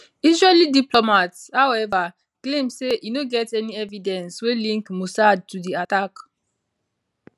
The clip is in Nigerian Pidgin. israeli diplomats however claim say e no get any evidence wey link mossad to di attack